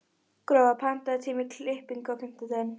Gróa, pantaðu tíma í klippingu á þriðjudaginn.